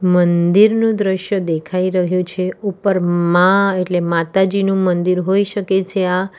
મંદિરનું દ્રશ્ય દેખાઈ રહ્યું છે ઉપર માં એટલે માતાજીનું મંદિર હોઈ શકે છે આ.